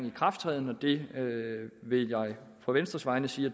ikrafttræden og det vil jeg på venstres vegne sige